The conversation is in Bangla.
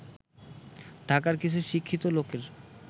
ঢাকার কিছু শিক্ষিত লোকের